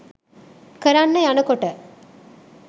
කරන්න යනකොට